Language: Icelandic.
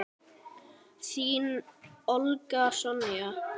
Þín, Olga Sonja.